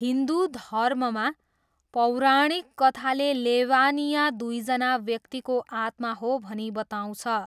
हिन्दु धर्ममा, पौराणिक कथाले लेवानिया दुईजना व्यक्तिको आत्मा हो भनी बताउँछ।